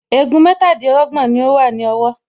Egun mẹ́tàdínlọ́gbọ̀n ni ó wà ní ọwọ́